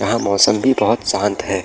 यहाँ मौसम भी बहुत शांत है।